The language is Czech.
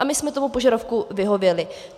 A my jsme tomu požadavku vyhověli.